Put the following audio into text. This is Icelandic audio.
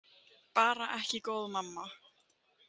Bara ekki góð mamma.